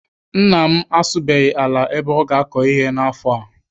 Nna m asụbeghị ala ebe ọ ga- akọ ihe n'afọ a.